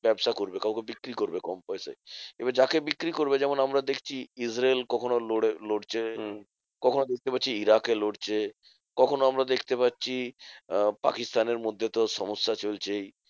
ব্যাবসা করবে কাউকে বিক্রি করবে কম পয়সায়। এবার যাকে বিক্রি করবে যেমন আমরা দেখছি ইসরাইল কখনো লড়ে লড়ছে। কখনোও দেখতে পাচ্ছি ইরাকে লড়ছে। কখনোও আমরা দেখতে পাচ্ছি আহ পাকিস্তানের মধ্যে তো সমস্যা চলছেই।